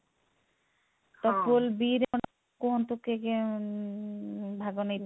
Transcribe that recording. ତ pool b ରେ ଆପଣ କୁହନ୍ତୁ କିଏ କିଏ ଉଁ ଭାଗ ନେଇଥିଲେ?